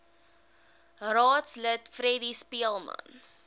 raadslid freddie speelman